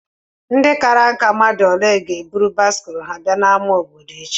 Ndị kárá ǹkà ole ga ébụrụ báịsikụlu ha bịa n'ámá obodo échi?